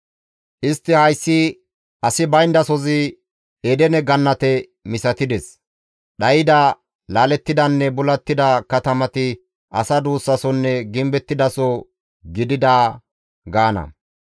Istti hayssi asi bayndasozi Edene Gannate misatides; dhayda, laalettidanne bulattida katamati asa duussasonne gimbettidaso gidida gaana.